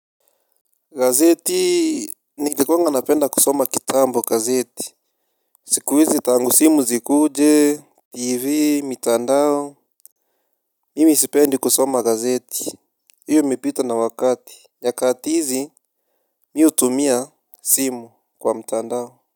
Gazeti, nilikunga napenda kusoma kitambo gazeti. Siku hizi tangu simu zikuje. Tivi, mitandao. Mimi sipendi kusoma gazeti. Iyo imepita na wakati. Nyakati hizi, mi hutumia simu kwa mtandao.